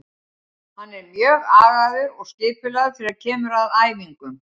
Hann er mjög agaður og skipulagður þegar kemur að æfingum.